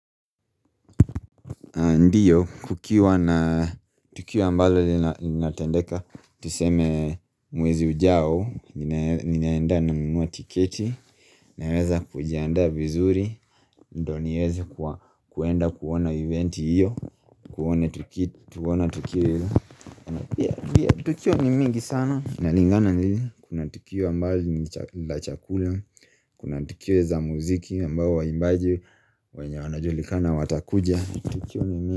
Ndiyo, kukiwa na tukio ambalo linatendeka, tuseme mwezi ujao, ninaenda nanunua tiketi, naweza kujiandaa vizuri, ndo nieze kuenda kuona eventi hiyo, kuona tukiwa hiyo. Tukio ni mingi sana, nalingana nili, kuna tukio ambalo la chakula, kuna tukio za muziki ambao waimbaji, wanajulikana watakuja, tukio ni mingi.